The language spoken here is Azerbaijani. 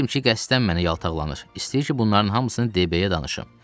Bilirdim ki, qəsdən mənə yaltaqlanır, istəyir ki, bunların hamısını D.B-yə danışım.